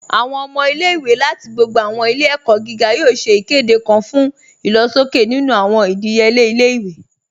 Awọn ọmọ ilẹ̀-iwé lati gbogbo awọn ilẹ̀-ẹ̀kọ giga yoo ṣè ikede kan fun ilọ̀ṣọkẹ̀ nínu awọn idíyelẹ̀ ilẹ̀-iwé